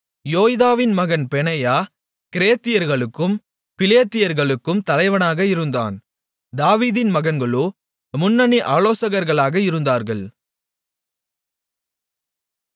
யோய்தாவின் மகன் பெனாயா கிரேத்தியர்களுக்கும் பிலேத்தியர்களுக்கும் தலைவனாக இருந்தான் தாவீதின் மகன்களோ முன்னணி ஆலோசகர்களாக இருந்தார்கள்